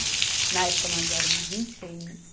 Na época, nós éramos em seis.